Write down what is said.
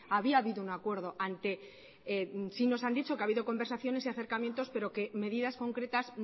había habido un acuerdo ante sí nos han dicho que ha habido conversaciones y acercamientos pero que medidas concretas